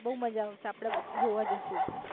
બૌ મજા આવશે આપડે જોવા જશું